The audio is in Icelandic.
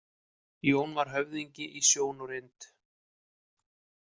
Jón var höfðingi í sjón og reynd.